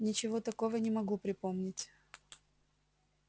ничего такого не могу припомнить